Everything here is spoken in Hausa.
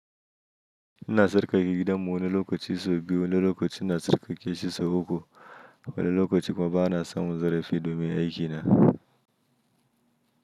Ina sarƙaƙe gidanmu wani lokaci sau biyu, wani lokaci na sarƙaƙe shi sau uku, wani lokaci kuma bana samun zarafi domin aikina.